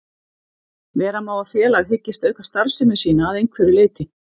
Vera má að félag hyggist auka starfsemi sína að einhverju leyti.